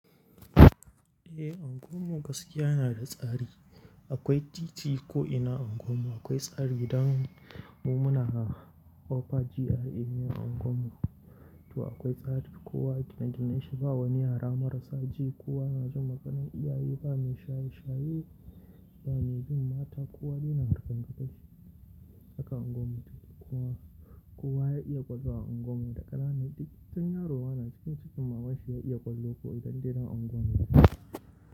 Eh, unguwar mu gaskiya na da tsari. Akwai titi ko'ina a unguwar, akwai tsari idan mu muna ofaki a unguwar mu. To akwai tsari, kowa gidan da na yi, ba wani yara marasa ji, kowa na jin maganan iyaye, ba mai shaye shaye, ba mai bin mata, kowa yana harkan kashi a kan unguwar. Kowa, kowa ya iya kwallo a unguwar mu, da ƙarana, duk wani yaro yana cikin cikin mamashi ya iya kwallo ko idan dai yana unguwar mu.